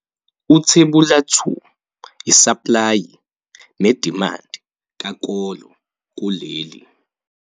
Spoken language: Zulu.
Uthebula 2- Isaplayi nedimandi kakolo kuleli